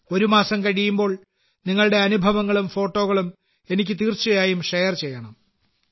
ഒരു മാസം കഴിയുമ്പോൾ നിങ്ങളുടെ അനുഭവങ്ങളും ഫോട്ടോകളും എനിക്ക് തീർച്ചയായും ഷെയർ ചെയ്യണം